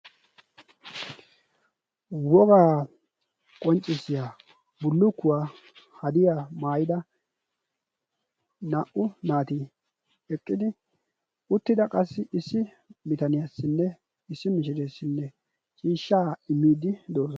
Wogaa qonccissiyaa bullukkuwaa hadiyaa maayida naa"u naati eqqidi uttida qassi issi bitaniyaassinne issi mishireessinne miishshaa immiidi doosona.